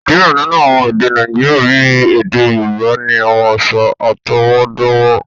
Diẹ ninu awọn èdè Nàìjíríà, bí èdè Yorùbá, ni awọn aṣa atọwọdọwọ